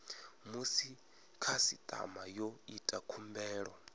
musi khasitama yo ita khumbelo